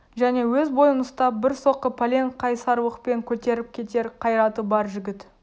және өз бойын ұстап бір соққы пәлен қайсарлықпен көтеріп кетер қайраты бар жігіт